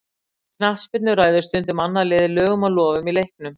í knattspyrnu ræður stundum annað liðið lögum og lofum í leiknum